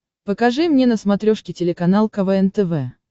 покажи мне на смотрешке телеканал квн тв